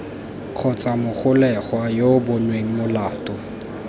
kgotsa mogolegwa yo bonweng molato